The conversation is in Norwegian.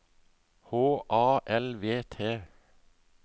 H A L V T